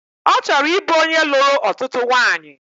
Ọ chọrọ ịbụ onye lụrụ ọtụtụ nwanyị